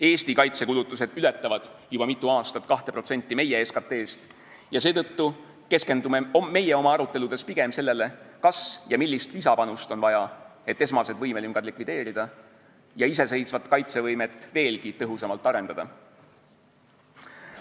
Eesti kaitsekulutused ületavad juba mitu aastat 2% meie SKT-st ja seetõttu keskendume meie oma aruteludes pigem sellele, kas ja millist lisapanust on vaja, et esmased võimelüngad likvideerida ja iseseisvat kaitsevõimet veelgi tõhusamalt arendada.